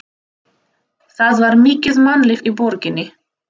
Það var mikið mannlíf í borginni.